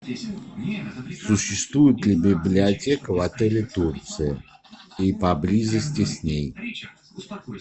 существует ли библиотека в отеле турция и поблизости с ней